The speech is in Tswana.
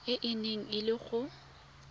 e neng e le go